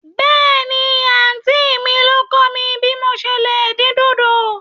Bẹ́ẹ̀ni, àntí mi ló kọ̀ mí bí mò se lè dín dòdò.